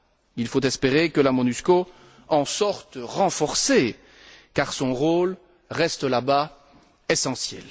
Il faut espérer que la MONUSCO en sorte renforcée, car son rôle reste là bas essentiel.